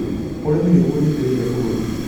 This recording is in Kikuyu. Ũrĩmi nĩguo ũnyitĩrĩire bũrũri